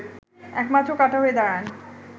একমাত্র কাঁটা হয়ে দাঁড়ান